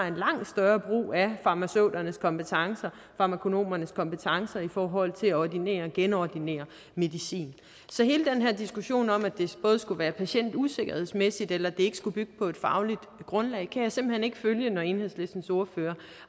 en langt større brug af farmaceuternes kompetencer farmakonomernes kompetencer i forhold til at ordinere og genordinere medicin så hele den her diskussion om at det både skulle være patientusikkert eller ikke skulle bygge på et fagligt grundlag kan jeg simpelt hen ikke følge når enhedslistens ordfører